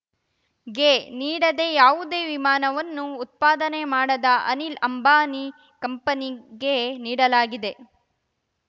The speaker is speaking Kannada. ಗೆ ನೀಡದೇ ಯಾವುದೇ ವಿಮಾನವನ್ನು ಉತ್ಪಾದನೆ ಮಾಡದ ಅನಿಲ್ ಅಂಬಾನಿ ಕಂಪನಿಗೆ ನೀಡಲಾಗಿದೆ